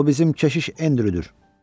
O bizim keşiş Endryudur.